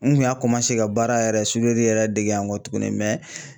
N kun y'a ka baara yɛrɛ yɛrɛ dege yan kɔtuguni